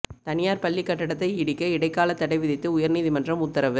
தனியாா் பள்ளிக் கட்டடத்தை இடிக்க இடைக்கால தடை விதித்து உயா்நீதிமன்றம் உத்தரவு